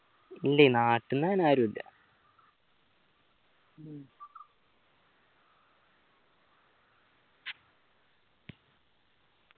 ഇല്ലെ നാട്ടന്ന് അങ്ങന ആരൂല്ല